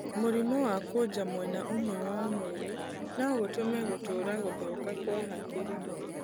Mũrimũ wa kwoja mwena ũmwe wa mwĩrĩ no gũtũme gũtũũra gũthũka kwa hakiri.